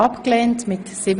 Abstimmung (Ziff.